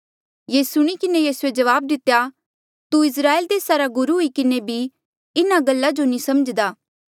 ये सुणी किन्हें यीसूए जबाब दितेया तू इस्राएल देसा रा गुरु हुई किन्हें भी इन्हा गल्ला जो नी समझ्दा